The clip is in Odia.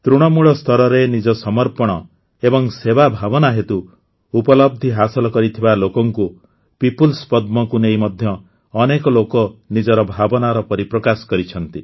ତୃଣମୂଳ ସ୍ତରରେ ନିଜ ସମର୍ପଣ ଏବଂ ସେବା ଭାବନା ହେତୁ ଉପଲବ୍ଧି ହାସଲ କରିଥିବା ଲୋକଙ୍କୁ ପିପୁଲ୍ସ ପଦ୍ମକୁ ନେଇ ମଧ୍ୟ ଅନେକ ଲୋକ ନିଜର ଭାବନାର ପରିପ୍ରକାଶ କରିଛନ୍ତି